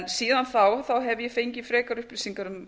síðan þá hef ég fengið frekari upplýsingar um